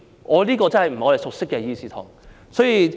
這個真的不是我們熟悉的議事堂。